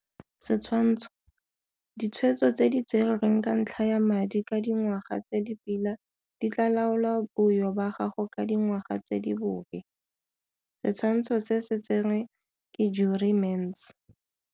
Setshwantsho. Ditshwetso tse di tserweng ka ntlha ya madi ka dingwaga tse di pila di tlaa laola boyo ba gago ka dingwaga tse di bobe. Setshwantsho se tserwe ke Jurie Mentz.